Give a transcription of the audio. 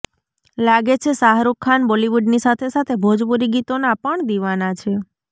લાગે છે શાહરુખ ખાન બોલિવુડની સાથે સાથે ભોજપુરી ગીતોના પણ દિવાના છે